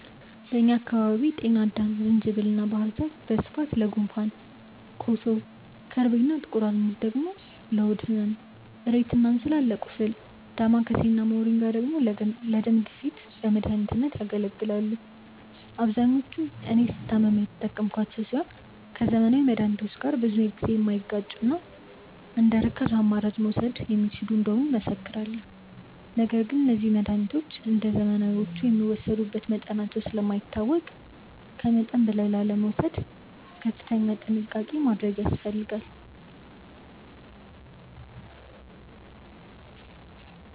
በእኛ አካባቢ ጤናአዳም፣ ዝንጅብል እና ባህር ዛፍ በስፋት ለጉንፋን፣ ኮሶ፣ ከርቤ እና ጥቁር አዝሙድ ደግሞ ለሆድ ህመም፣ እሬት እና እንስላል ለቁስል፣ ዳማከሴ እና ሞሪንጋ ደግሞ ለደም ግፊት በመድኃኒትነት ያገለግላሉ። አብዛኞቹን እኔ ስታመም የተጠቀምኳቸው ሲሆን ከዘመናዊ መድሃኒቶች ጋር ብዙ ጊዜ የማይጋጩና እንደርካሽ አማራጭ መወሰድ የሚችሉ እንደሆኑ እመሰክራለሁ። ነገር ግን እነዚህ መድሃኒቶች እንደዘመናዊዎቹ የሚወሰዱበት መጠናቸው ስለማይታወቅ ከመጠን በላይ ላለመውሰድ ከፍተኛ ጥንቃቄ ያስፈልጋል።